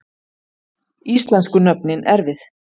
Íslensku nöfnin erfið